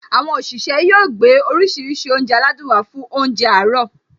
Àwọn òṣìṣẹ́ yóò gbé oríṣiríṣi oúnjẹ aládùn wá fún óúnjẹ àárọ̀